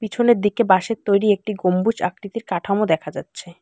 পিছনের দিকে বাঁশের তৈরি একটি গম্বুজ আকৃতির কাঠামো দেখা যাচ্ছে।